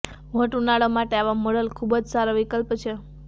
hot ઉનાળો માટે આવા મોડલ ખૂબ જ સારો વિકલ્પ છે